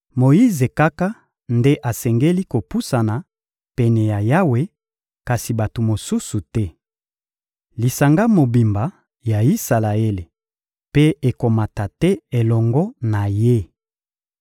Moyize kaka nde asengeli kopusana pene ya Yawe; kasi bato mosusu te. Lisanga mobimba ya Isalaele mpe ekomata te elongo na ye.